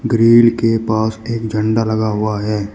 Grill के पास एक झंडा लगा हुआ है।